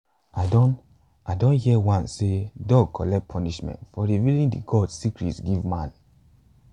i don i don hear once sey dog collect punishment for revealing de gods secret give man